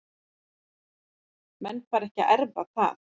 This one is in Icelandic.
Menn fara ekki að erfa það.